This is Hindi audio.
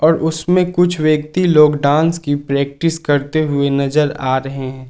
उसमें कुछ व्यक्ति लोग डांस की प्रैक्टिस करते हुए नजर आ रहे हैं।